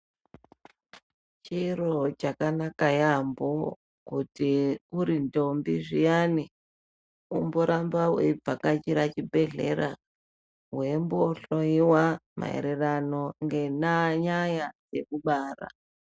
Chiro chakanaka yaamho kuti uri ndombi zviyani umboramba weivhakachira chibhehlera weimbohlowiwa maererano ngenyaya yekubara.